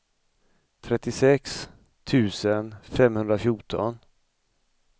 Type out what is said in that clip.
trettiosex tusen femhundrafjorton